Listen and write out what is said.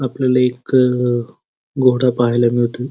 आपल्याला एक घोडा पाहायला मिळतोय.